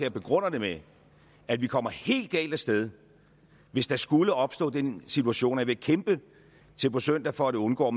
og begrunder det med at vi kommer helt galt afsted hvis der skulle opstå den situation og jeg vil kæmpe til på søndag for at undgå